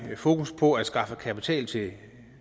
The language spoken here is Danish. fokus på at skaffe kapital til